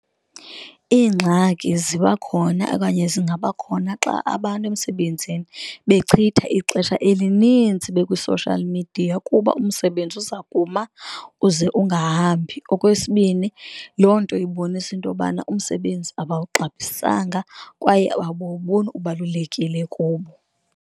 Iingxaki ziba khona okanye zingabakhona xa abantu emsebenzini bechitha ixesha elinintsi bekwi-social media, kuba umsebenzi uza kuma uze ungahambi. Okwesibini, loo nto ibonisa into yobana umsebenzi abawuxabisanga kwaye abawuboni ubalulekile kubo.